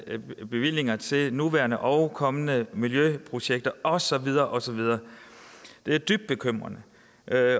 bevillinger til nuværende og kommende miljøprojekter og så videre og så videre det er dybt bekymrende